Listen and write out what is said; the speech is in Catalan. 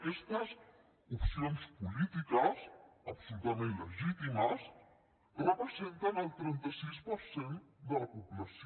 aquestes opcions polítiques absolutament legítimes representen el trenta sis per cent de la població